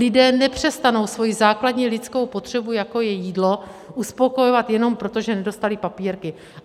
Lidé nepřestanou svoji základní lidskou potřebu, jako je jídlo, uspokojovat jenom proto, že nedostali papírky.